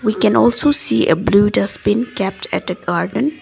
we can also see blue dustbin kept at the garden.